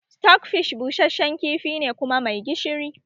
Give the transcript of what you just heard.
Stockfish busasshen kifi ne kuma mai gishiri